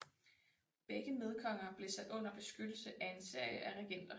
Begge medkonger blev sat under beskyttelse af en serie af regenter